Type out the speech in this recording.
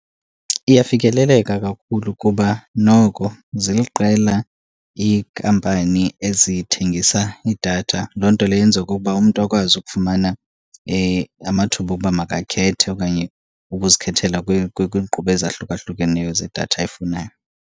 Iyafikeleleka kakhulu kuba noko ziliqela ikampani ezithengisa idatha. Loo nto leyo yenza okokuba umntu akwazi ukufumana amathuba okuba makakhethe okanye ukuzikhethela kwiinqubo ezahlukahlukeneyo zedatha ayifunayo.